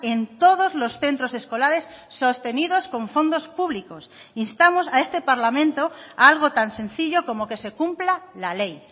en todos los centros escolares sostenidos con fondos públicos instamos a este parlamento a algo tan sencillo como que se cumpla la ley